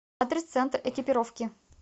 адрес центр экипировки